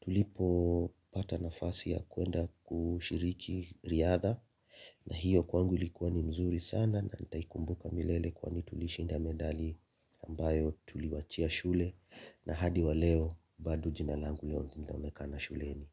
tulipopata nafasi ya kwenda kushiriki riadha na hiyo kwangu likuwa ni mzuri sana na nitaikumbuka milele kwani tulishinda medali ambayo tuliwachia shule na hadi wa leo bado jina langu leo linaonekana shuleni.